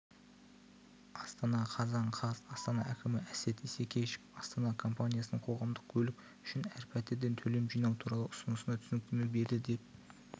астана қазан қаз астана әкімі әсет исекешев астана компаниясының қоғамдық көлік үшін әр пәтерден төлем жинау туралы ұсынысына түсініктеме берді деп